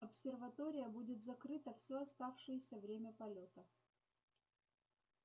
обсерватория будет закрыта все оставшееся время полёта